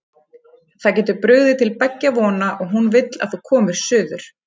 Það getur brugðið til beggja vona og hún vill að þú komir suður.